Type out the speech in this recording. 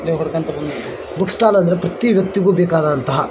ಇಲ್ಲಿ ಹುಡುಕಂತ ಬಂದಿದ್ದೀನಿ ಬುಕ್ ಸ್ಟಾಲ್ ಅಂದ್ರೆ ಪ್ರತಿಯೊಂದು ವ್ಯಕ್ತಿಗೂ ಬೇಕಾದಂತ.